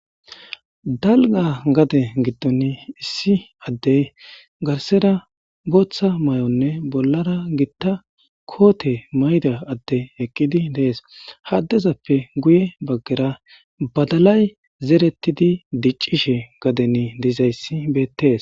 dalga gade giddon issi addey garsera booththa may7onne bollara gitta koote mayda adde eqqidi dees haddezappe guye baggera badalay zerettidi diccishe gaden dizayssi bettees